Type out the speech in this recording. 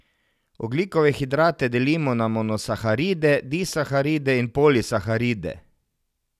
Ogljikove hidrate delimo na monosaharide, disaharide in polisaharide.